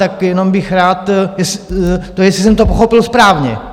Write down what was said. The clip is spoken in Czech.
Tak jenom bych rád, jestli jsem to pochopil správně?